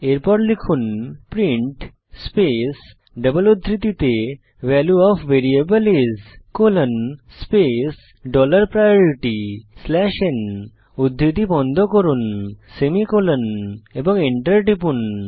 এরপর লিখুন print space double উদ্ধৃতিতে value of variable is colon space dollar priority slash n উদ্ধৃতি বন্ধ করুন সেমিকোলন এবং এন্টার টিপুন